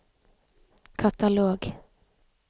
katalog